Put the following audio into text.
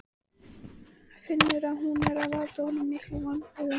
Finnur að hún er að valda honum miklum vonbrigðum.